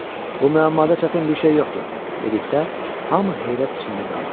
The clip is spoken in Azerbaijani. Bu müəmmada çətin bir şey yoxdur, dedikdə, hamı heyrət içində qaldı.